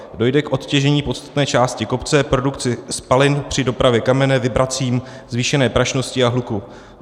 Dojde k odtěžení podstatné části kopce, produkci spalin při dopravě kamene, vibracím, zvýšené prašnosti a hluku.